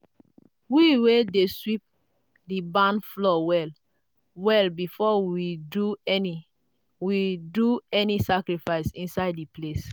we wey dey sweep the barn floor well-well before we do any we do any sacrifice inside the place.